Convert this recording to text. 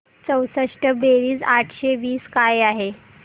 चौसष्ट बेरीज आठशे वीस काय आहे